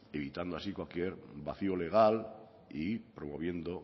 evitando así cualquier vació legal y promoviendo